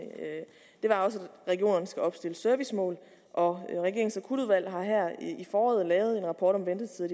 var at regionerne skal opstille servicemål og regeringens akutudvalg har her i foråret lavet en rapport om ventetider